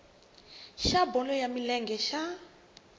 xa bolo ya milenge xa